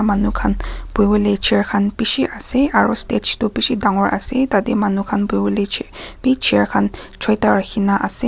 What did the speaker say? manu khan buhi bole chair khan bishi ase aro stage tu bishi dangor ase tade manu khan buhi bole ch b chair khan choita rakhina ase.